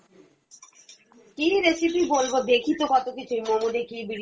কী recipe বলবো দেখি তো কত কিছুই, momo দেখি বিরিয়ানি